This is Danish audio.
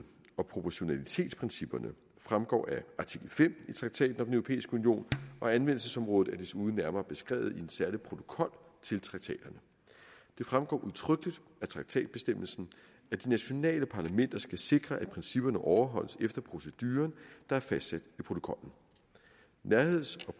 og proportionalitetsprincipperne fremgår af artikel fem i traktaten om den europæiske union og anvendelsesområdet er desuden nærmere beskrevet i en særlig protokol til traktaterne det fremgår udtrykkeligt af traktatbestemmelsen at de nationale parlamenter skal sikre at principperne overholdes efter proceduren der er fastsat i protokollen nærheds